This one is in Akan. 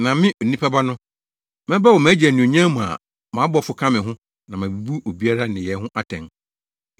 Na me, Onipa Ba no, mɛba wɔ mʼagya anuonyam mu a mʼabɔfo ka me ho na mabebu obiara nneyɛe ho atɛn.